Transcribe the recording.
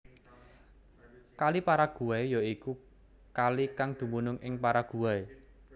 Kali Paraguay ya iku kalikang dumunung ing Paraguay